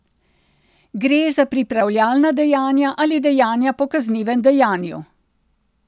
Gre za pripravljalna dejanja ali dejanja po kaznivem dejanju.